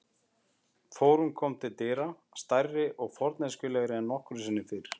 Þórunn kom til dyra, stærri og forneskjulegri en nokkru sinni fyrr.